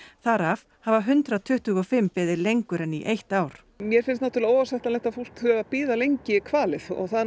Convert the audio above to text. þar af hafa hundrað tuttugu og fimm beðið lengur en í eitt ár mér finnst náttúrulega óásættanlegt að fólk þurfi að bíða lengi kvalið og það